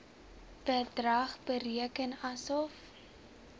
bedrag bereken asof